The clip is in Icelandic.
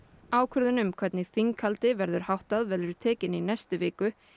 ákvörðun um hvernig þinghaldi verður háttað verður tekin í næstu viku